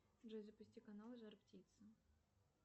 джой запусти канал жар птица